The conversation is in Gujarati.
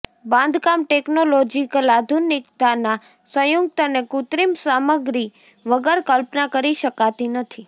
બાંધકામ ટેકનોલોજીકલ આધુનિકતાના સંયુક્ત અને કૃત્રિમ સામગ્રી વગર કલ્પના કરી શકાતી નથી